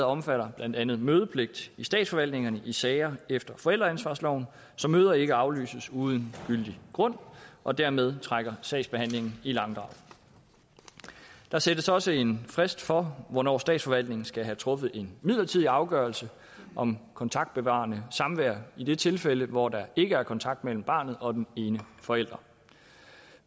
omfatter blandt andet mødepligt i statsforvaltningen i sager efter forældreansvarsloven så møder ikke aflyses uden gyldig grund og dermed trækker sagsbehandlingen i langdrag der sættes også en frist for hvornår statsforvaltningen skal have truffet en midlertidig afgørelse om kontaktbevarende samvær i det tilfælde hvor der ikke er kontakt mellem barnet og den ene forælder